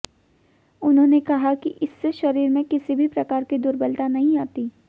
उन्होंने कहा कि इससे शरीर में किसी भी प्रकार की दुर्बलता नही आती